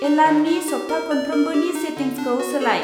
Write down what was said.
एलार्मनि सबथाखनफ्रोमबोनि सेटिंसखौ सोलाय।